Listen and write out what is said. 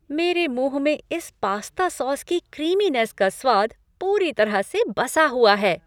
मेरे मुँह में इस पास्ता सॉस की क्रीमिनेस का स्वाद पूरी तरह से बसा हुआ है।